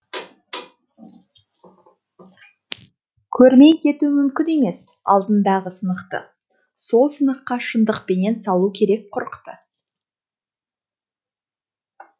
көрмей кету мүмкін емес алдыңдағы сынықты сол сыныққа шындықпенен салу керек құрықты